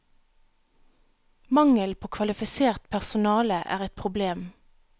Mangelen på kvalifisert personalet er et problem.